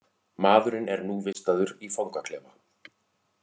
Maðurinn er nú vistaður í fangaklefa